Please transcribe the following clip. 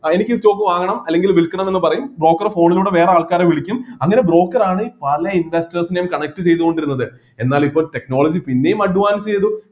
ആ എനിക്ക് ഈ stock വാങ്ങണം അല്ലെങ്കിൽ വിൽക്കണം എന്നുപറയും broker phone ലൂടെ വേറെ ആൾക്കാരെ വിളിക്കും അങ്ങനെ broker ആണ് പല investors നെയും connect ചെയ്തുകൊണ്ടിരുന്നത് എന്നാൽ ഇപ്പൊ technology പിന്നെയും advance ചെയ്തു